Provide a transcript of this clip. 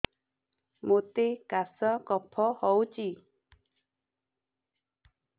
ମୋତେ କାଶ କଫ ହଉଚି